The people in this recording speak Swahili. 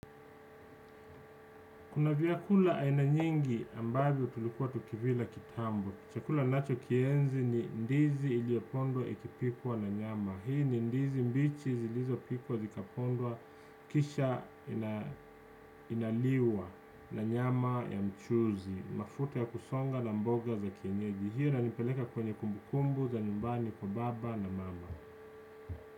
Kuna vyakula aina nyingi ambazo tulikuwa tukivila kitambo. Chakula ninacho kienzi ni ndizi iliopondwa ikipikwa na nyama. Hii ni ndizi mbichi zilizopikwa, zikapondwa kisha inaliwa na nyama ya mchuzi. Mafuta ya kusonga na mboga za kienyeji. Hio inanipeleka kwenye kumbu kumbu za nyumbani kwa baba na mama.